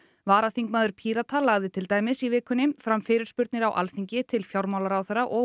varaþingmaður Pírata lagði til dæmis í vikunni fram fyrirspurnir á Alþingi til fjármálaráðherra og